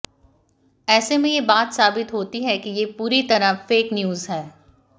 ऐसे में ये बात साबित होती है ये पूरी तरह फेक न्यूज है